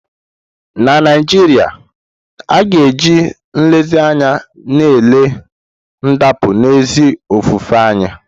Na Naijiria, a ka ga-eji nlezianya na-ele ndapụ n'ezi ofufe anya.